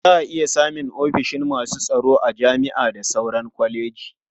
Za a iya samun ofishin masu tsaro a jami'a da sauran kwalejoji.